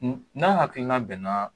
n'a hakilina bɛn na